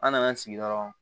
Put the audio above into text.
An nan'an sigi dɔrɔn